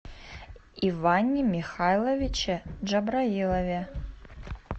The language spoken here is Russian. иване михайловиче джабраилове